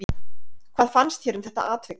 Hvað fannst þér um þetta atvik?